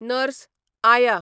nurse, आया